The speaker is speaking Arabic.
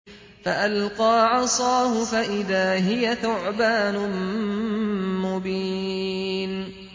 فَأَلْقَىٰ عَصَاهُ فَإِذَا هِيَ ثُعْبَانٌ مُّبِينٌ